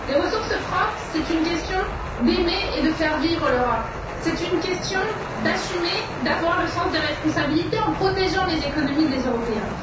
Les ressources propres, c'est une question d'aimer et de faire vivre l'Europe, c'est une question d'assumer, d'avoir le sens des responsabilités en protégeant les économies des Européens.